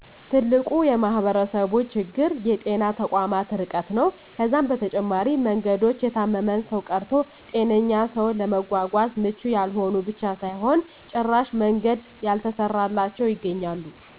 ትልቁ የማህበረሰቡ ችግር የጤና ተቋማት እርቀት ነው። ከዛም በተጨማሪ መንገዶች የታመመን ሰው ቀርቶ ጤነኛን ሰው ለማጎጎዝ ምቹ ያልሆኑ ብቻ ሳይሆን ጭራሽ መንገድ ያልተሰራላቸው ይገኛሉ።